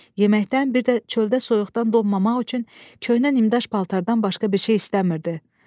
Yeməkdən, bir də çöldə soyuqdan donmamaq üçün köhnə nimdaş paltarlardan başqa bir şey istəmirdi.